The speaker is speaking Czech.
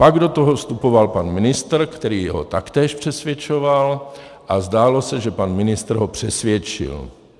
Pak do toho vstupoval pan ministr, který ho taktéž přesvědčoval, a zdálo se, že pan ministr ho přesvědčil.